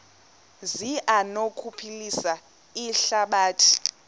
zi anokuphilisa ihlabathi